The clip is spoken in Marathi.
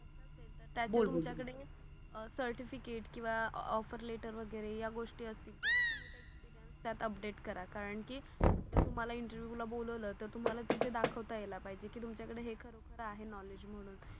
तुमच्या कडे सर्टिफिकेट किवा ऑफर लेटर वागिरे य अगोष्टी असतील तर त्यात अपडेट करा कारण कि जर तुम्हाला इंटरव्हिएव ला बोलाव ल तर तुम्हाला तिथे दाखवता अल पाहिजे. कि तुमच्या कडे हे खर खर आहे नॉलेज म्हणून